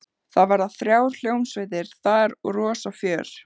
Það verða þrjár hljómsveitir þar og rosa fjör.